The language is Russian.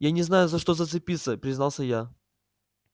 я не знаю за что зацепиться признался я